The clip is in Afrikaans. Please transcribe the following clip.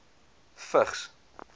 vigs